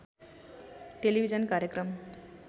television कार्यक्रम